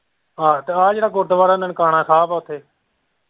ਆਹੋ ਤੇ ਆਹ ਜਿਹੜਾ ਗੁਰਦੁਆਰਾ ਨਨਕਾਣਾ ਸਾਹਿਬ ਹੈ ਇੱਥੇ।